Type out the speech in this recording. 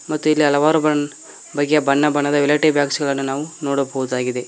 ಮತ್ತು ಇಲ್ಲಿ ಹಲವಾರು ಬಣ್ಣ ಬಗೆಯ ಬಣ್ಣ ಬಣ್ಣದ ವ್ಯಾನಿಟಿ ಬ್ಯಾಗ್ ಗಳನ್ನು ನೋಡಬಹುದಾಗಿದೆ.